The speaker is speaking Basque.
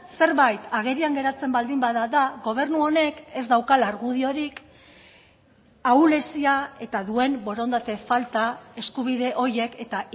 zerbait agerian geratzen baldin bada da gobernu honek ez daukala argudiorik ahulezia eta duen borondate falta eskubide horiek eta